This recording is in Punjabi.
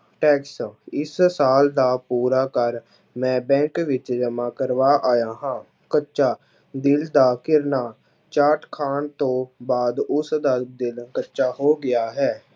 Tax ਇਸ ਸਾਲ ਦਾ ਪੂਰਾ ਕਰ ਮੈਂ bank ਵਿੱਚ ਜਮਾ ਕਰਵਾ ਆਇਆ ਹਾਂ, ਕੱਚਾ ਦਿਲ ਦਾ ਘਿਰਨਾ ਚਾਰਟ ਖਾਣ ਤੋਂ ਬਾਅਦ ਉਸ ਦਾ ਦਿਲ ਕੱਚਾ ਹੋ ਗਿਆ ਹੈ।